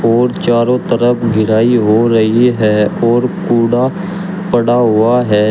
और चारों तरफ घेराई हो रही है और कूड़ा पड़ा हुआ है।